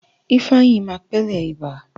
Ifeanyi máa pẹlẹ ibà.